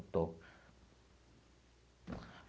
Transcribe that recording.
Estou.